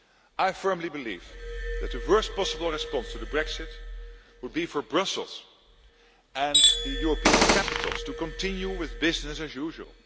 so. I firmly believe that the worst possible response to Brexit would be for Brussels' and the European capitals to continue with business as